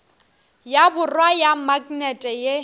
ya borwa ya maknete ye